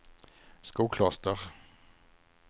Skokloster